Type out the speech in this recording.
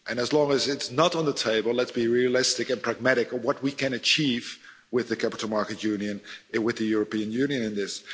As long as it's not on the table, let's be realistic and pragmatic on what we can achieve with the capital markets union, and with the European Union, in this.